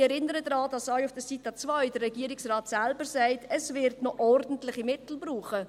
Ich erinnere daran, dass der Regierungsrat auf Seite 2 selbst sagt, es wird noch ordentliche Mittel brauchen.